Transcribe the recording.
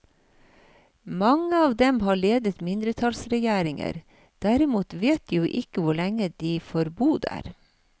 Mange av dem har ledet mindretallsregjeringer, dermed vet de jo ikke hvor lenge de får bo der.